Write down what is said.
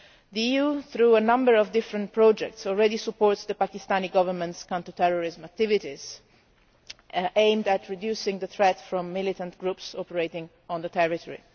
The EU, through a number of different projects, already supports the Pakistani Government's counter terrorism activities aimed at reducing the threat from militant groups operating in the territory.